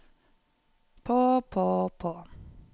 på på på